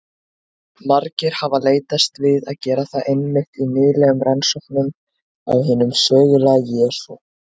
Margir hafa leitast við að gera það einmitt í nýlegum rannsóknum á hinum sögulega Jesú.